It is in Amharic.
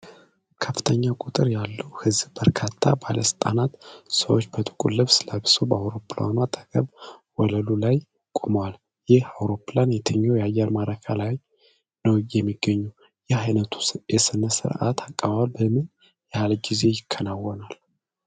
ከፍተኛ ቁጥር ያለው ሕዝብ፣ በርካታ ባለሥልጣናትና ሰዎች በጥቁር ልብስ ለብሰው በአውሮፕላኑ አጠገብ ወለሉ ላይ ቆመዋል። ይህ አውሮፕላን የትኛው አየር ማረፊያ ላይ ነው የሚገኘው? ይህ ዓይነቱ የሥነ ሥርዓት አቀባበል በምን ያህል ጊዜ ይከናወናል?